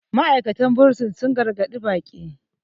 ma'aikatan bursin sun gargaɗi baƙi